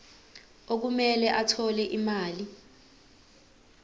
okumele athole imali